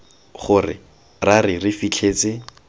gore ra re re fitlhetse